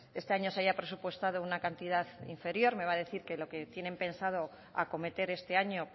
este año se haya presupuestado una cantidad inferior me va a decir que lo que tienen pensado acometer este año